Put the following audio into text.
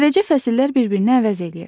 Beləcə fəsillər bir-birini əvəz eləyir.